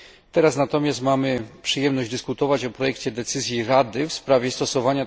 Teraz natomiast mamy przyjemność dyskutować o projekcie decyzji Rady w